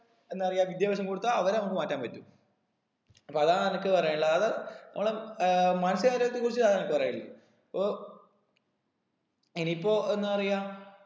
എന്താ പറയാ വിദ്യാഭ്യാസം കൊടുത്താ അവരെ നമുക്ക് മാറ്റാൻ പറ്റും അപ്പൊ അതാണ് എനിക്ക് പറയാനുള്ളത് അതായത് നമ്മള് ഏർ മാനസിക രോഗ്യത്തിന കുറിച്ച് ഇതാണ് അനക്ക് പറയാനില്ലേ പ്പൊ ഇനീപ്പൊ എന്നാ പറയാ